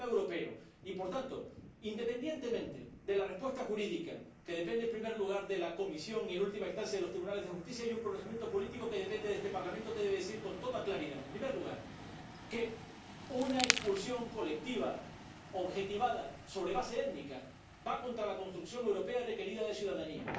Es un problema europeo y, por tanto, independientemente de la respuesta jurídica —que depende, en primer lugar, de la Comisión y, en última instancia, de los tribunales de justicia—, hay un procedimiento político que depende de este Parlamento, que debe decir con toda claridad, en primer lugar, que una expulsión colectiva objetivada sobre una base étnica va contra la construcción europea requerida de ciudadanía